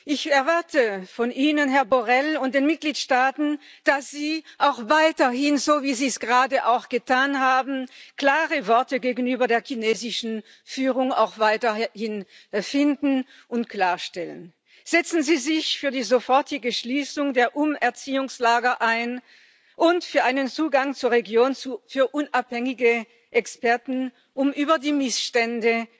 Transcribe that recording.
Ich erwarte von Ihnen, Herr Borrell, und von den Mitgliedstaaten, dass Sie auch weiterhin, so wie Sie es gerade auch getan haben, klare Worte gegenüber der chinesischen Führung finden und Dinge klarstellen Setzen Sie sich für die sofortige Schließung der Umerziehungslager ein und für einen Zugang zur Region für unabhängige Experten, um über die Missstände